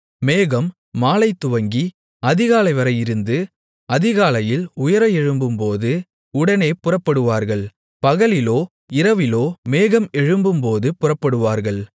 மேகம் மாலைதுவங்கி அதிகாலைவரை இருந்து அதிகாலையில் உயர எழும்பும்போது உடனே புறப்படுவார்கள் பகலிலோ இரவிலோ மேகம் எழும்பும்போது புறப்படுவார்கள்